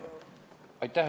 Aitäh!